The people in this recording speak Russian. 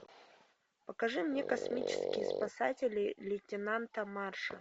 покажи мне космические спасатели лейтенанта марша